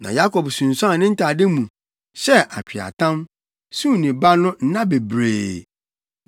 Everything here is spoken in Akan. Na Yakob sunsuan ne ntade mu, hyɛɛ atweaatam, suu ne ba no nna bebree.